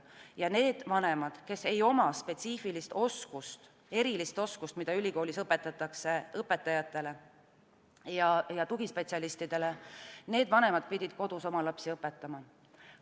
Ja need vanemad, kes ei oma spetsiifilist oskust, erilist oskust, mida ülikoolis õpetatakse õpetajatele ja tugispetsialistidele, pidid kodus oma lapsi õpetama.